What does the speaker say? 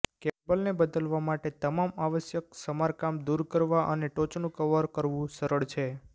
કેબલને બદલવા માટે તમામ આવશ્યક સમારકામ દૂર કરવા અને ટોચનું કવર કરવું સરળ છે